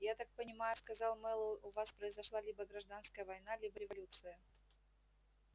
я так понимаю сказал мэллоу у вас произошла либо гражданская война либо революция